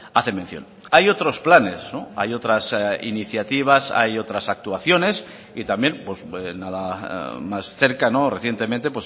hace mención hay otros planes hay otras iniciativas hay otras actuaciones y también nada más cerca recientemente